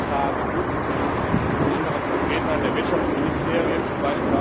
von Kommissar De Gucht und von anderen Vertretern der Wirtschaftsministerien, z.